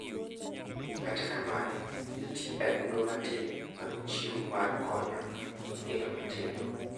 Kata kamano nitiere adundo matin manochiwu mar konyo nyithindo matindo.